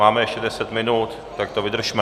Máme ještě deset minut, tak to vydržme!